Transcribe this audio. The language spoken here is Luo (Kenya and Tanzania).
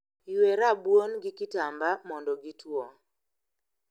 Ywe rabuon gi kitamba mondo gitwoo